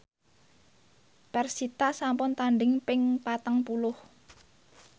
persita sampun tandhing ping patang puluh